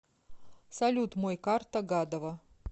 салют мой карта гадова